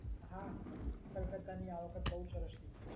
હા, કલકત્તાની આ વખત બહુ સરસ ટીમ છે.